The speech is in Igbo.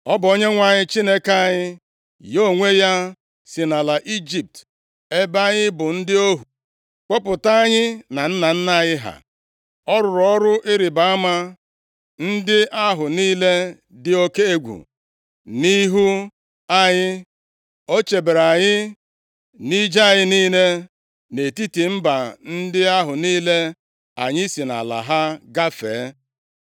Ọ bụ Onyenwe anyị Chineke anyị, ya onwe ya si nʼala Ijipt, ebe anyị bụ ndị ohu, kpọpụta anyị na nna anyị ha. Ọ rụrụ ọrụ ịrịbama ndị ahụ niile dị oke egwu nʼihu anyị. O chebere anyị nʼije anyị niile nʼetiti mba ndị ahụ niile anyị si nʼala ha gafee.